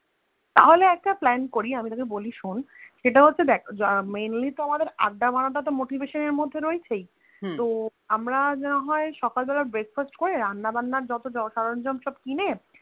তাহলে একটা Plan করি আমি তোকে বলি শোন সেটা হচ্ছে যে Mainly তো আমাদের আড্ডা মারাটা তো motivation এর মধ্যে রয়েছেই তো আমরা যদি না হয়ে সকালে বেলা breakfast রান্না বান্না যত সরঞ্জাম সব কিনে